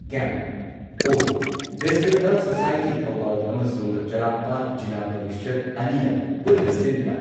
camp of district health society, Thoubal ꯑꯃꯁꯨꯡ ꯆꯔꯥꯡꯄꯥꯠ ꯖꯤꯂꯥ ꯄꯔꯤꯁꯗ ꯑꯅꯤꯅ ꯄꯨꯟꯅ ꯁꯤꯟꯗꯨꯅ